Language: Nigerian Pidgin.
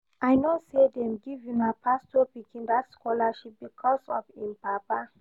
I no say dem give una pastor pikin that scholarship because of im papa